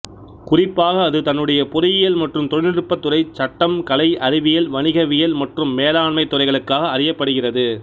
குறிப்பாக அது தன்னுடைய பொறியியல் மற்றும் தொழில்நுட்பத் துறை சட்டம் கலை அறிவியல் வணிகவியல் மற்றும் மேலாண்மைத் துறைகளுக்காக அறியப்படுகிறது